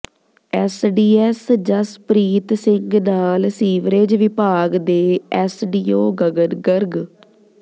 SDM Jaspreet Singh ਨਾਲ sewerage ਵਿਭਾਗ ਦੇ ਅੱੈਸਡੀਓ ਗਗਨ ਗਰਗ